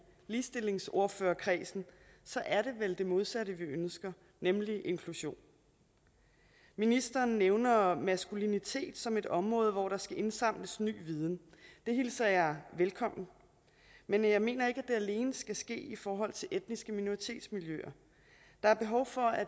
ligestillingsordførerkredsen det modsatte vi ønsker nemlig inklusion ministeren nævner maskulinitet som et område hvor der skal indsamles ny viden det hilser jeg velkommen men jeg mener ikke at det alene skal ske i forhold til etniske minoritetsmiljøer der er behov for at